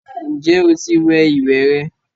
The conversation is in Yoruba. Ǹjẹ́ o ti wẹ ìwẹ̀ rẹ?